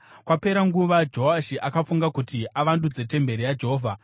Kwapera kanguva Joashi akafunga kuti avandudze temberi yaJehovha.